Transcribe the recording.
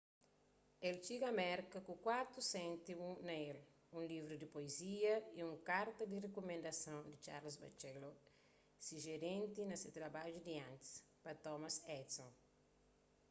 el txiga merka ku 4 séntimu na el un livru di puezia y un karta di rikumendason di charles batchelor se jerénti na se trabadju di antis pa thomas edison